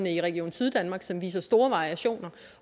i region syddanmark som viser store variationer